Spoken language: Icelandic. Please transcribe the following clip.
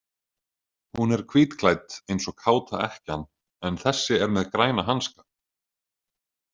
Hún er hvítklædd eins og káta ekkjan en þessi er með græna hanska.